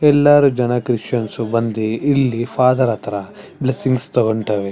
ಎಲ್ಲರೂ ಜನ ಕ್ರಿಶ್ಚಿಯನ್ಸ್ ಬಂದಿ ಇಲ್ಲಿ ಫಾದರ್ ಹತ್ರ ಬ್ಲೆಸ್ಸಿಂಗ್ಸ್ ತಗೋಂತಾವೆ --